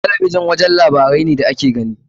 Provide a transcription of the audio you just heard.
Talabijin wajen labarai ne da ake gani.